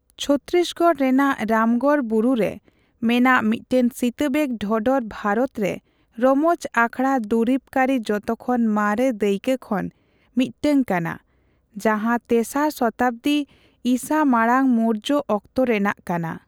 ᱪᱷᱚᱛᱛᱤᱥᱜᱚᱲ ᱨᱮᱱᱟᱜ ᱨᱟᱢᱜᱚᱲ ᱵᱩᱨᱩ ᱨᱮ ᱢᱮᱱᱟᱜ ᱥᱤᱛᱟᱵᱮᱜ ᱰᱷᱚᱰᱚᱨ ᱵᱷᱟᱨᱚᱛ ᱨᱮ ᱨᱚᱢᱚᱡ ᱟᱠᱷᱲᱟ ᱫᱩᱨᱤᱵ ᱠᱟᱹᱨᱤ ᱡᱚᱛᱚᱠᱷᱚᱱ ᱢᱟᱨᱮ ᱫᱟᱹᱭᱠᱟ ᱠᱷᱚᱱ ᱢᱤᱫ ᱴᱟᱝ ᱠᱟᱱᱟ, ᱡᱟᱸᱦᱟ ᱛᱮᱥᱟᱨ ᱥᱚᱛᱟᱵᱟᱫᱤ ᱤᱥᱟᱹ ᱢᱟᱲᱟᱝ ᱢᱳᱨᱡᱚ ᱚᱠᱛᱚ ᱨᱮᱱᱟᱜ ᱠᱟᱱᱟ ᱾